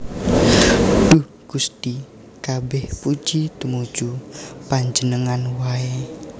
Duh Gusti kabèh puji tumuju Panjenengan waé